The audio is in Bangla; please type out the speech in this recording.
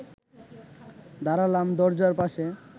দাঁড়ালাম দরজার পাশে